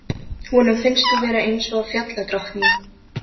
Honum finnst þú vera eins og fjalladrottning.